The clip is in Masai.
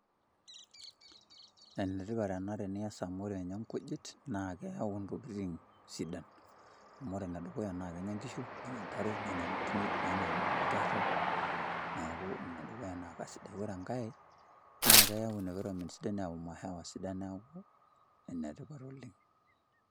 Enetipat ena tenias amu ore nye nkujit, naa keeu ntokiting sidan. Amu ore enedukuya na kenya nkishu, nenya ntare, nenya nkinejik, nenya nkerra. Neeku enedukuya naa kasidai. Ore enkae, na keeu environment sidai neeu mahewa sidan, neeku enetipat oleng'.